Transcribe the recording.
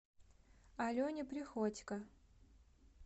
алене приходько